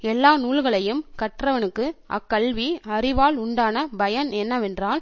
எல்லா நூல்களையும் கற்றவனுக்கு அக்கல்வி அறிவால் உண்டான பயன் என்னவென்றால்